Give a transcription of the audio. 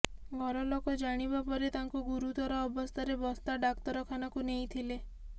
ଘରଲୋକ ଜାଣିବା ପରେ ତାଙ୍କୁ ଗୁରୁତର ଅବସ୍ଥାରେ ବସ୍ତା ଡାକ୍ତରଖାନାକୁ ନେଇଥିଲେ